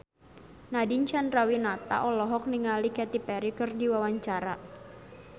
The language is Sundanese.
Nadine Chandrawinata olohok ningali Katy Perry keur diwawancara